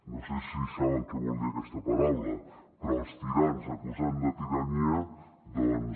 no sé si saben què vol dir aquesta paraula però els tirans acusant de tirania doncs